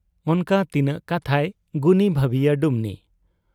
ᱚᱱᱠᱟ ᱛᱤᱱᱟᱹᱜ ᱠᱟᱛᱷᱟᱭ ᱜᱩᱱᱤ ᱵᱷᱟᱹᱵᱤᱭᱟ ᱰᱩᱢᱱᱤ ᱾